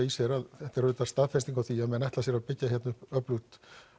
í sér að þetta er auðvitað staðfesting á því að menn ætli sér að byggja hérna upp öflugt